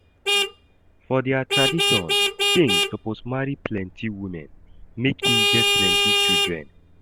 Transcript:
For their tradition, king suppose marry plenty women, make im get plenty children.